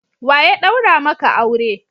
Wa ya daura maka aure?